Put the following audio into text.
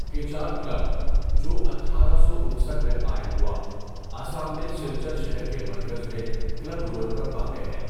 Cachar club, جو ۱۸۵۹ میں قائم ہوا، آسام میں سلچر شہر کے مرکز میں کلب روڈ پر واقع ہے۔